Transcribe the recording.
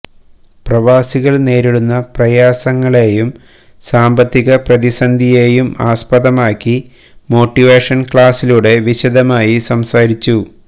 പ്രവാസികൾ നേരിടുന്ന പ്രയാസങ്ങളേയും സാമ്പത്തിക പ്രതിസന്ധിയേയും ആസ്പദമാക്കി മോട്ടിവേഷൻ ക്ലസിലൂടെ വിശദമായി സംസാരിച്ചു